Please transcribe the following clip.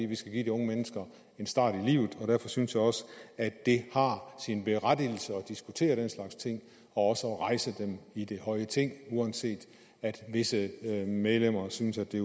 vi skal give de unge mennesker en start i livet og derfor synes jeg også at det har sin berettigelse at diskutere den slags ting og også at rejse dem i det høje ting uanset at visse medlemmer synes at det